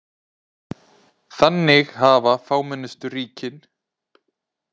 Þannig hafa fámennustu ríkin.